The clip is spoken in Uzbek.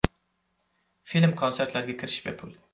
Film-konsertlarga kirish bepul.